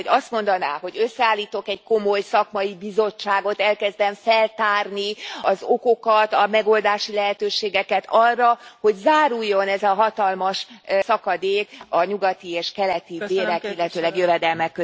Tehát hogy azt mondaná, hogy összeállítok egy komoly szakmai bizottságot, elkezdem feltárni az okokat, a megoldási lehetőséget arra, hogy záruljon ez a hatalmas szakadék a nyugati és keleti bérek, illetőleg jövedelmek között.